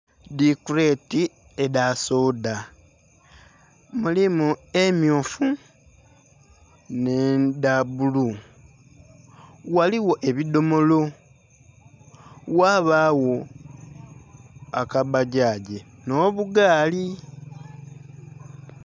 Dhikuleti edhasoda mulimu emmyufu n'edhabbulu ghaligho ebidhomolo ghabagho akabbagyagi n'obugaali.